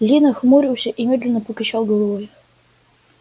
ли нахмурился и медленно покачал головой